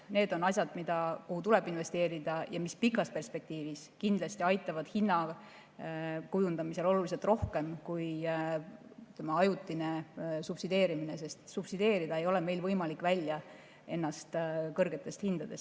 Need on asjad, kuhu tuleb investeerida ja mis pikas perspektiivis kindlasti aitavad hinnakujundamisel oluliselt rohkem kui ajutine subsideerimine, sest kõrgetest hindadest end välja subsideerida ei ole meil võimalik.